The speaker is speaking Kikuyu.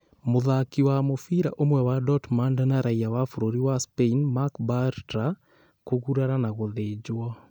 Mũthaki wa mũbira ũmwe wa Dortmund na raiya wa bũrũri wa Spain Marc Bartra kũgurara na gũthĩnjwo.